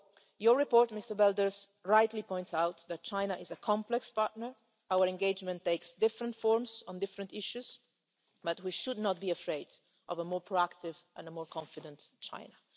world. Your report, Mr Belder, rightly points out that China is a complex partner, and our engagement takes different forms on different issues, but we should not be afraid of a more proactive and a more confident